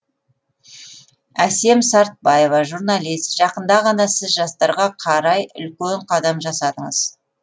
әсем сартбаева журналист жақында ғана сіз жастарға қарай үлкен қадам жасадыңыз